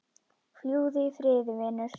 Fljúgðu í friði vinur.